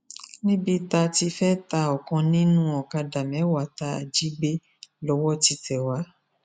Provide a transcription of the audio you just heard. níbi tá a ti fẹẹ ta ọkan nínú ọkadà mẹwàá tá a jí gbé lọwọ ti tẹ wá